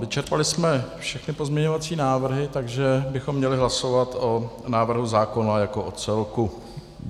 Vyčerpali jsme všechny pozměňovací návrhy, takže bychom měli hlasovat o návrhu zákona jako o celku.